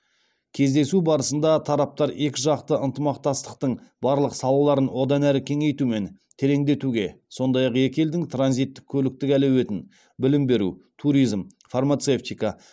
кездесу барысында тараптар екіжақты ынтымақтастықтың барлық салаларын одан әрі кеңейту мен тереңдетуге сондай ақ екі елдің транзиттік көліктік әлеуетін білім беру туризм фармацевтика